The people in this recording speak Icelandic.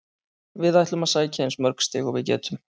Við ætlum að sækja eins mörg stig og við getum.